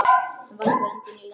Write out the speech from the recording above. Hann varpaði öndinni léttar.